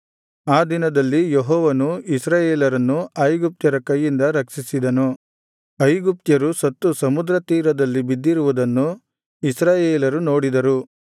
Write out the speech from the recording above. ಆ ದಿನದಲ್ಲಿ ಯೆಹೋವನು ಇಸ್ರಾಯೇಲ್ಯರನ್ನು ಐಗುಪ್ತ್ಯರ ಕೈಯಿಂದ ರಕ್ಷಿಸಿದನು ಐಗುಪ್ತ್ಯರು ಸತ್ತು ಸಮುದ್ರ ತೀರದಲ್ಲಿ ಬಿದ್ದಿರುವುದನ್ನು ಇಸ್ರಾಯೇಲರು ನೋಡಿದರು